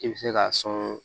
I bɛ se k'a sɔn